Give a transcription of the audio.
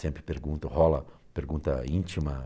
Sempre pergunta, rola pergunta íntima.